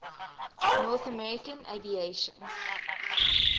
north american aviation